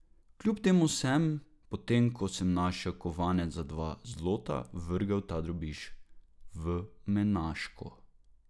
Kljub temu sem, potem ko sem našel kovanec za dva zlota, vrgel ta drobiž v menažko.